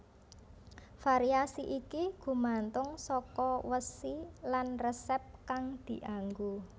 Variasi iki gumantung saka wesi lan resep kang dianggo